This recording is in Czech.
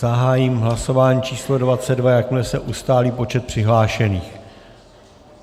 Zahájím hlasování číslo 22, jakmile se ustálí počet přihlášených...